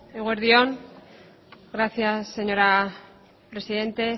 eguerdi on gracias señora presidenta